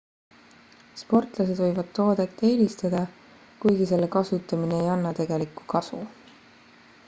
sportlased võivad toodet eelistada kuigi selle kasutamine ei anna tegelikku kasu